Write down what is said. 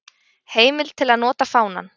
Heimild til að nota fánann.